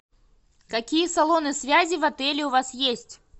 какие салоны связи в отеле у вас есть